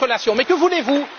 Mais que voulez vous?